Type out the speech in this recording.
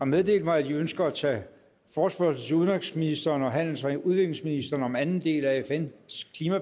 meddelt mig at de ønsker at tage forespørgsel til udenrigsministeren og handels og udviklingsministeren om anden del af